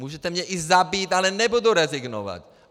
Můžete mě i zabít, ale nebudu rezignovat!